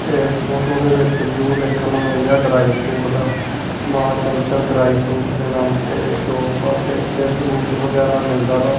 ਇਸ ਫ਼ੋਟੋ ਦੇ ਵਿੱਚ ਵਿਊ ਵੇਖਣ ਨੂੰ ਮਿਲ ਰਿਹਾ ਡਰਾਇਫਰੂਟ ਦਾ ਮਾਂ ਚੰਚਲ ਡਰਾਇਫਰੂਟ ਦੇ ਨਾਮ ਤੇ ਸ਼ੌਪ ਆ ਤੇ ਇੱਥੇ ਫਰੂਟ ਵਗੈਰਾ ਮਿਲਦਾ ਵਾ।